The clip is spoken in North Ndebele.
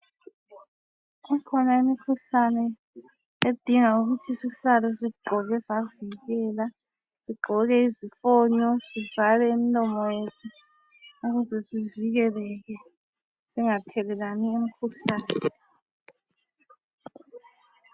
Ikhona imikhuhlane edinga ukuthi sihlale sigqoke savikela. Sigqoke izifonyo sivale imilomo yethu ukuze sivikeleke, singathelelani imikhuhlane.